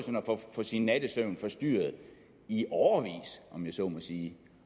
få sin nattesøvn forstyrret i årevis om jeg så må sige